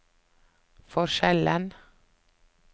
forskjellen